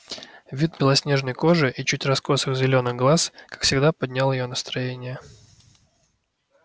вид белоснежной кожи и чуть раскосых зелёных глаз как всегда поднял её настроение